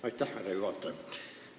Aitäh, härra juhataja!